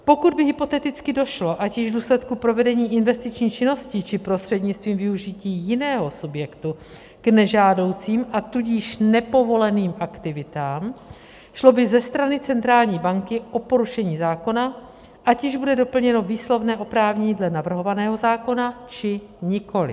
Pokud by hypoteticky došlo, ať již v důsledku provedení investiční činnosti, či prostřednictvím využití jiného subjektu, k nežádoucím, a tudíž nepovoleným aktivitám, šlo by ze strany centrální banky o porušení zákona, ať již bude doplněno výslovné oprávnění dle navrhovaného zákona, či nikoliv.